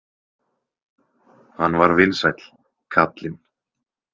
Hann var vinsæll, kallinn.